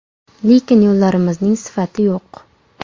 Lekin yo‘llarimizning sifati yo‘q .